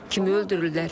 Kimi öldürürlər?